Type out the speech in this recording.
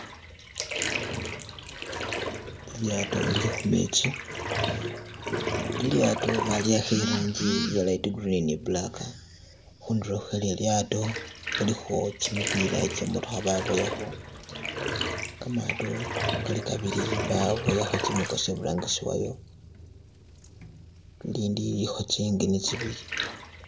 Lilyato lili khumetsi, lilyato baliwakha irangi iye light green ni black, khundulo khwe lilyato khulikho kimipila kyematokha baboyakho kamato kali kabili baboyakho kimikosi kili iburangisi wayo lilindi lilikho tsi engine tsibili.